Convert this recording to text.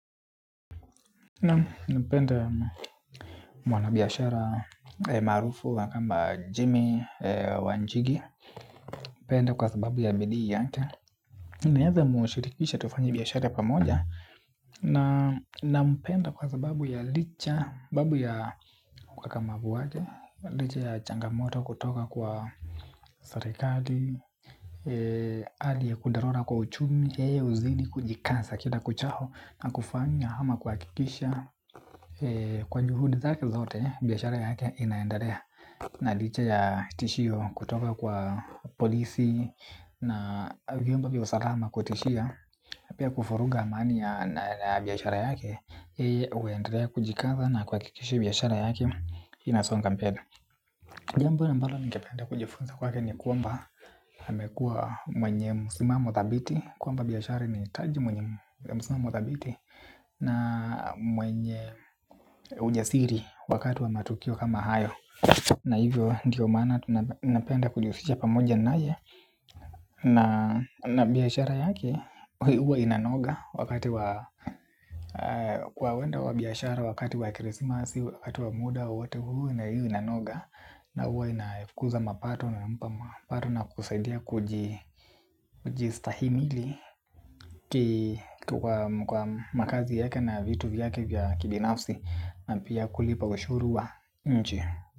Nampenda mwanabiashara maarufu wa kwamba Jimmy Wanjigi. Nampenda kwa sababu ya bidii yake, naeza mshirikisha tufanye biashara pamoja. Nampenda kwa sababu ya licha sababu ya ukakamavu wake, licha ya changamoto kutoka kwa serikali hali ya kudorora kwa uchumi, yeye huzidi kujikaza kila kuchao na kufanya ama kuhakikisha kwa juhudi zake zote biashara yake inaendelea. Na licha ya tishio kutoka kwa polisi na vyumba vya usalama kutishia pia kuvuruga amani ya biashara yake, yeye huendelea kujikaza na kuhakikisha biashara yake inasonga mbele. Jambo ambalo ningependa kujifunza kwake ni kwamba amekuwa mwenye msimamo thabiti kwamba biashara inahitaji mwenye msimamo thabiti na mwenye ujasiri wakati wa matukio kama hayo na hivyo ndio maana napenda kujihusisha pamoja naye na biashara yake huwa inanoga wakati wa kwa uwenda wa biashara wakati wa krisimasi wakati wa muda wowote huu na huwa inanoga na huwa inakuza mapato na kusaidia kujistahimili kituwa kwa makazi yake na vitu vyake vya kibinafsi na pia kulipa ushuru wa nchi.